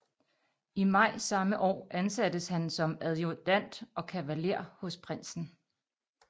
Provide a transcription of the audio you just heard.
I maj samme år ansattes han som adjudant og kavaler hos prinsen